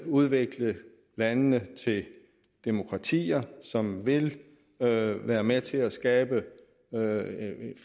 udvikle landene til demokratier som vil vil være med til at skabe